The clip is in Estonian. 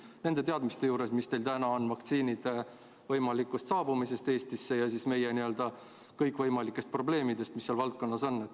Vastake nende teadmiste põhjal, mis teil täna on vaktsiinide võimaliku Eestisse saabumise ja meie kõikvõimalike probleemide kohta, mis selles valdkonnas on.